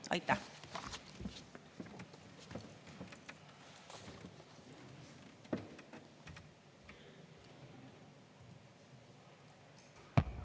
Aitäh!